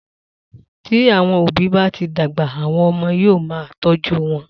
Tí àwọn òbí bá ti dàgbà, àwọn ọmọ wọn ní yóò máa tọ́jú wọn.